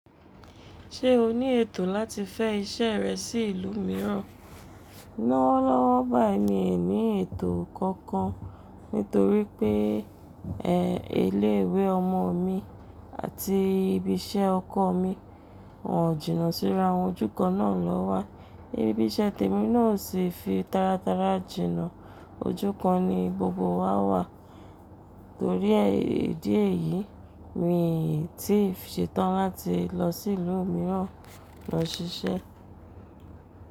Ṣé o ní ètò láti fẹ́ iṣẹ́ rẹ sí ìlú mìíràn? Lọ́wọ́ lọ́wọ́ bái mi ò ní ètò kankan nítorí pé, ẹ, iléwé ọmọ mi àti ibi iṣẹ́ ọkọ mi wọ́n o jìnà síra ojú kan náà lọ́wọ́. Ibi iṣẹ́ tèmi náà sì fi taratara jìnà ojú kan ni gbogbo wa wà. Nítorí ẹ́ ìdí èyí, mi ò tíì ṣetán láti lọ sí ìlú mìíràn lọ ṣiṣẹ́